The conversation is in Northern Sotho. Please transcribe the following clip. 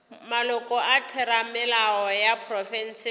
maloko a theramelao ya profense